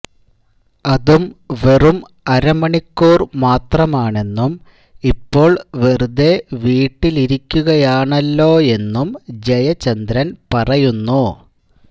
അതും വെറും അരമണിക്കൂർ മാത്രമാണെന്നും ഇപ്പോൾ വെറുതെ വീട്ടിലിരിക്കുകയാണല്ലോയെന്നും ജയചന്ദ്രൻ പറയുന്നു